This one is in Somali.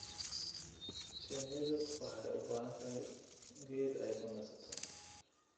Shinnidu waxay u baahan tahay geed ay ku nasato.